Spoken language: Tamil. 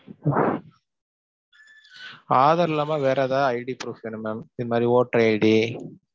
ஆதார் இல்லாம வேற எதா id proof வேணும் mam இந்த மாதிரி voter id.